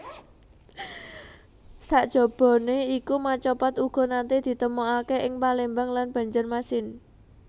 Sajabané iku macapat uga naté ditemokaké ing Palembang lan Banjarmasin